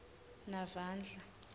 navandla